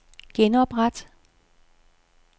genopret